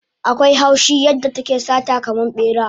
Akwai haushi yadda take sata kaman bera